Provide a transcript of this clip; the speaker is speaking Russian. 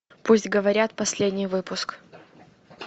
пусть говорят последний выпуск